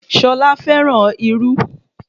Ṣolá fẹ́ràn irú